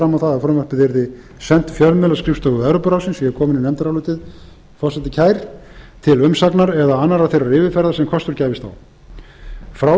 fram á það að frumvarpið yrði sent fjölmiðlaskrifstofu evrópuráðsins ég er kominn í nefndarálitið forseti kær til umsagnar eða annarrar þeirrar yfirferðar sem kostur gæfist á frá